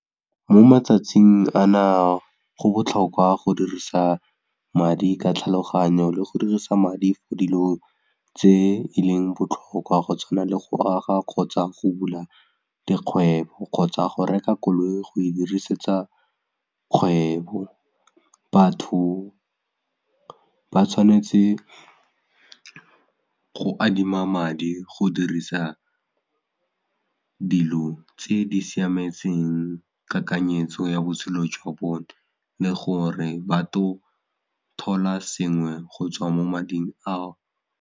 Mo matsatsing ana go botlhokwa go dirisa madi ka tlhaloganyo le go dirisa madi for dilo tse e leng botlhokwa go tshwana le go aga kgotsa go bula dikgwebo kgotsa go reka koloi go e dirisetsa kgwebo, batho ba tshwanetse go adima madi go dirisa dilo tse di siametseng kakanyetso ya botshelo jwa bone le gore batlo thola sengwe go tswa mo mading ao.